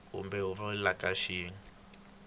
kumbe huvo yo ka yi